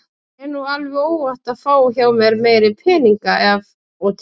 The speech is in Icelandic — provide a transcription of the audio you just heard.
Þér er nú alveg óhætt að fá hjá mér meiri peninga af og til.